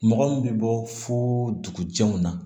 Mɔgɔ min bɛ bɔ fo dugujɛw na